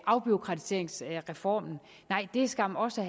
afbureaukratiseringsreformen nej det er skam også